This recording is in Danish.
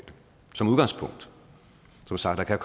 som udgangspunkt som sagt kan